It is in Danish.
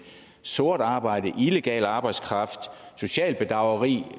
sort arbejde illegal arbejdskraft socialt bedrageri